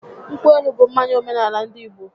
Nkwụ elu bụ mmanya omenaala ndị Igbo